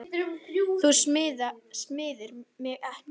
Þú smyrð mig ekki.